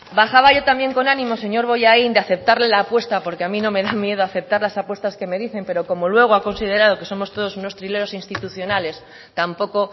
bajaba yo también con ánimo señor bollain de aceptarle la apuesta porque a mí no me da miedo aceptar las apuestas que me dicen pero como luego ha considerado que somos todos unos trileros institucionales tampoco